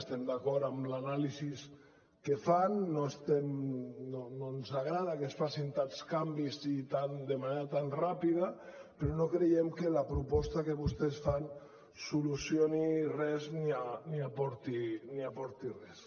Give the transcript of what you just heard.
estem d’acord amb l’anàlisi que fan no en agrada que es facin tants canvis i de manera tan ràpida però no creiem que la proposta que vostès fan solucioni res ni aporti res